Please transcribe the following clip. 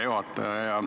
Hea juhataja!